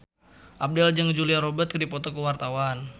Abdel jeung Julia Robert keur dipoto ku wartawan